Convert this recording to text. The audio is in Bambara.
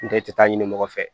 N tɛ i tɛ taa ɲini mɔgɔ fɛ